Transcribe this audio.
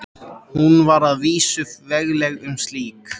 Hún var að vísu vegleg sem slík.